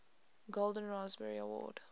golden raspberry award